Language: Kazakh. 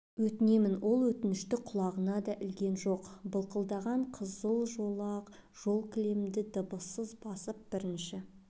өтінемін ол өтінішті құлағына да ілген жоқ былқылдаған қызыл жолақ жолкілемді дыбыссыз басып бірінші